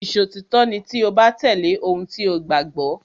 Ìṣòtítọ́ ni tí o bá tẹ̀lé ohun tí o gbàgbọ́.